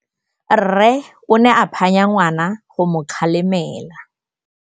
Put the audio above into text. Rre o ne a phanya ngwana go mo galemela.